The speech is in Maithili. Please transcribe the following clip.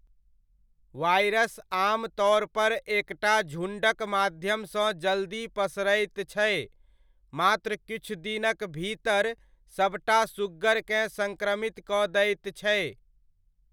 वायरस आमतौर पर एकटा झुण्डक माध्यमसँ जल्दी पसरैत छै, मात्र किछु दिनक भीतर सबटा सुग्गरकेँ संक्रमित कऽ दैत छै।